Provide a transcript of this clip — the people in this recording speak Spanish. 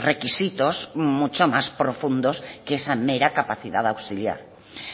requisitos mucho más profundos que esa mera capacidad auxiliar